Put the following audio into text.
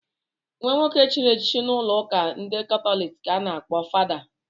Nwa nwoke chịrị echichi n'ụlọụka ndị katọlik ka a na-akpọ fada.